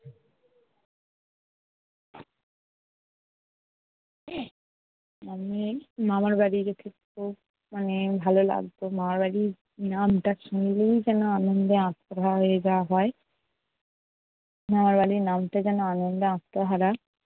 মামার বাড়ি মানে ভালো লাগতো। মামার বাড়ির নামটা শুনলেই যেনো আনন্দে আত্মহারা হয়ে যাওয়া হয় মামার বাড়ির নামটা যেন আনন্দে আত্মহারা